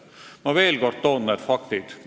Ma toon veel kord ära faktid.